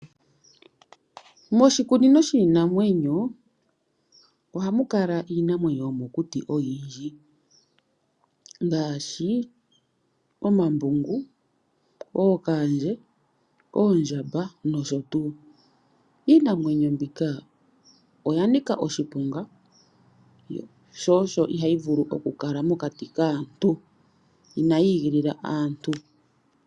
Moshikunino shiinamwenyo ohamukala iinamwenyo oyindji yomokuti ngaashi, omambungu, ookandje, oondjamba nosho tuu niinamwenyo ndjika oyanika oshiponga oshoka ina yiigilila aantu.